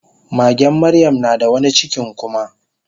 magen maryam nada wani cikin kuma